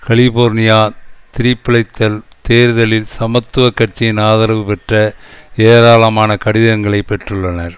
California திருப்பியழைத்தல் தேர்தலில் சமத்துவ கட்சியின் ஆதரவு பெற்ற ஏராளமான கடிதங்களைப் பெற்றுள்ளனர்